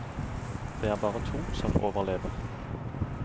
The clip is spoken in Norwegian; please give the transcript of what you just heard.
Det er bare to som overlever.